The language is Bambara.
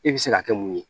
E bɛ se ka kɛ mun ye